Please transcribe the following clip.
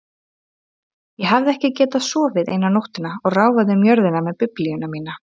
Ég hafði ekki getað sofið eina nóttina og ráfaði um jörðina með Biblíuna mína.